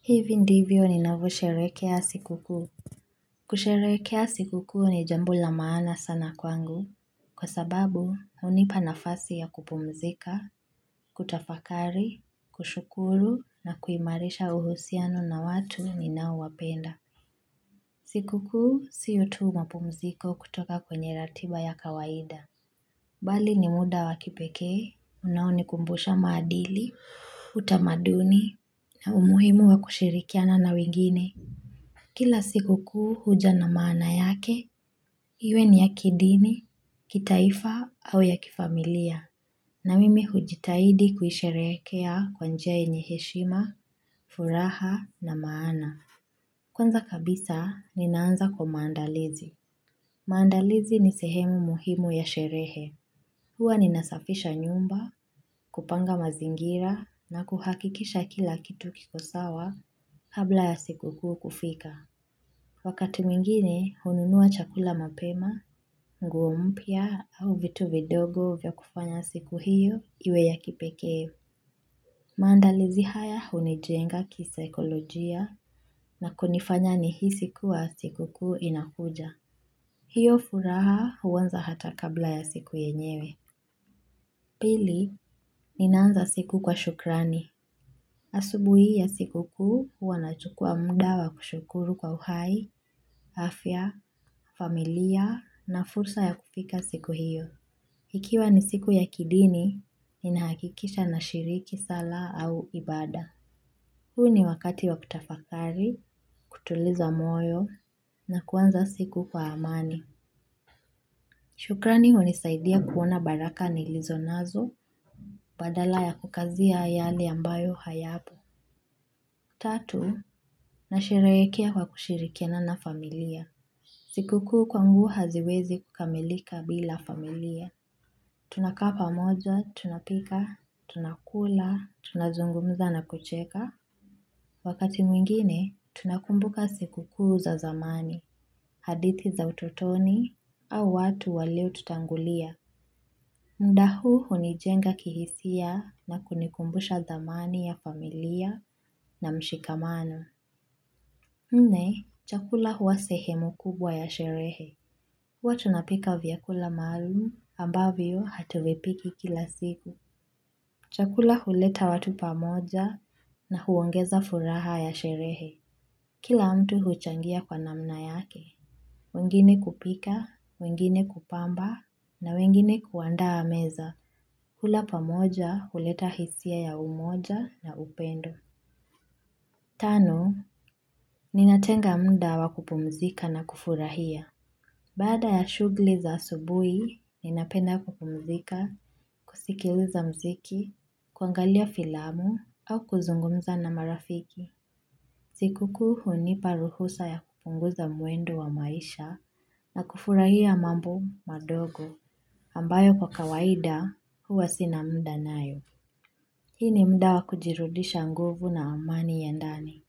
Hivi ndivyo ninavyo sherehekea siku kuu kusherehekea siku kuu ni jambo la maana sana kwangu kwa sababu hunipa nafasi ya kupumzika kutafakari kushukuru na kuimarisha uhusiano na watu ninao wapenda siku kuu siyo tu mapumziko kutoka kwenye ratiba ya kawaida bali ni muda wakipekee unaonikumbusha maadili, utamaduni na umuhimu wa kushirikiana na wengine Kila siku kuu huja na maana yake, iwe ni ya kidini, kitaifa au ya kifamilia. Na mimi hujitahidi kuisherehekea kwa njia yenye heshima, furaha na maana. Kwanza kabisa, ninaanza kwa maandalizi. Maandalizi ni sehemu muhimu ya sherehe. Hua ninasafisha nyumba, kupanga mazingira na kuhakikisha kila kitu kikosawa kabla ya siku kuu kufika. Wakati mwingine, hununua chakula mapema, nguo mpya au vitu vidogo vya kufanya siku hiyo iwe ya kipekee. Maandalizi haya hunijenga kisaikolojia na kunifanya nihisi kuwa siku kuu inakuja. Hiyo furaha huanza hata kabla ya siku yenyewe. Pili, ninaanza siku kwa shukrani. Asubuhi hii ya siku kuu huwa nachukua mnda wa kushukuru kwa uhai, afya, familia na fursa ya kufika siku hiyo. Ikiwa ni siku ya kidini, ninahakikisha na shiriki sala au ibada. Huu ni wakati wa kutafakari, kutuliza moyo na kuanza siku kwa amani. Shukrani hunisaidia kuona baraka nilizo nazo badala ya kukazia yale ambayo hayapo. Tatu, nasherehekea kwa kushirikiana na familia. Siku kuu kwangu haziwezi kukamilika bila familia. Tunakaa pamoja, tunapika, tunakula, tunazungumza na kucheka. Wakati mwingine, tunakumbuka siku kuu za zamani, hadithi za ututoni, au watu waliotutangulia. Muda huu hunijenga kihisia na kunikumbusha thamani ya familia na mshikamano. Nne, chakula huwa sehemu kubwa ya sherehe. Huwa tunapika vyakula maalumu ambavyo hatuvipiki kila siku. Chakula huleta watu pamoja na huongeza furaha ya sherehe. Kila mtu huchangia kwa namna yake. Wengine kupika, wengine kupamba na wengine kuandaa meza. Hula pamoja huleta hisia ya umoja na upendo. Tano, ninatenga muda wa kupumzika na kufurahia. Baada ya shughuli za asubuhi, ninapenda kupumzika, kusikiliza muziki, kuangalia filamu au kuzungumza na marafiki. Siku kuu hunipa ruhusa ya kupunguza mwendo wa maisha na kufurahia mambo madogo ambayo kwa kawaida huwa sina muda nayo. Hii ni muda wa kujirudisha nguvu na amani ya ndani.